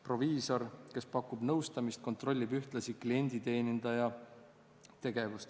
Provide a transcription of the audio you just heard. Proviisor, kes pakub nõustamist, kontrollib ühtlasi klienditeenindaja tegevust.